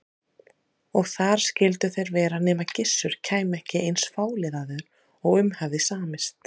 Og þar skyldu þeir vera nema Gissur kæmi ekki eins fáliðaður og um hafði samist.